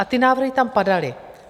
A ty návrhy tam padaly.